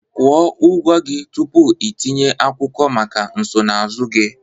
Kwụọ ụgwọ gị tupu itinye akwụkwọ maka nsonaazụ gị